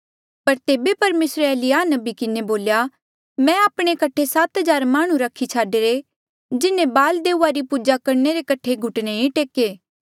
पर तेबे परमेसरे एलिय्याह नबी किन्हें बोल्या मैं आपणे कठे सात हजार माह्णुं रखी छाडीरे जिन्हें बाल देऊआ री पूजा करणे रे कठे घुटने नी टेके